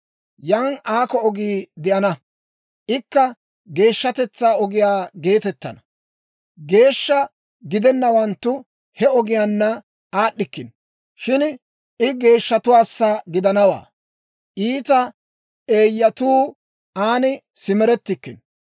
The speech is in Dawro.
Yan aakko ogii de'ana; ikka Geeshshatetsaa Ogiyaa geetettana. Geeshsha gidennawanttu he ogiyaanna aad'd'ikkino. Shin I geeshshatuwaassa gidanawaa; iita eeyyatuu aan simerettikkino.